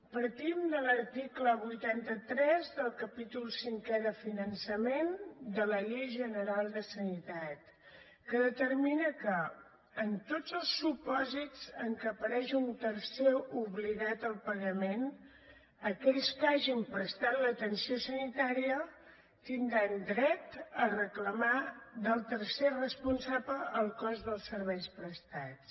partim de l’article vuitanta tres del capítol cinquè de finançament de la llei general de sanitat que determina que en tots els supòsits en què apareix un tercer obligat al pagament aquells que hagin prestat l’atenció sanitària tindran dret a reclamar del tercer responsable el cost dels serveis prestats